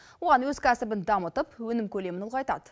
оған өз кәсібін дамытып өнім көлемін ұлғайтады